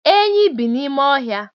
Enyí bi n'ime ọhịa